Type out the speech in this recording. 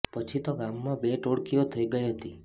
પછી તો ગામમાં બે ટોળકીઓ થઇ ગઈ હતી